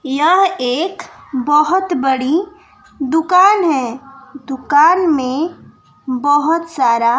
यह एक बहोत बड़ी दुकान है दुकान में बहोत सारा--